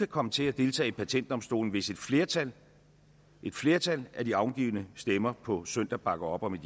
komme til at deltage i patentdomstolen hvis et flertal et flertal af de afgivne stemmer på søndag bakker op om